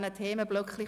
– Das ist der Fall.